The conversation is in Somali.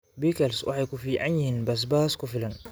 Pickles waxay ku fiican yihiin basbaas ku filan.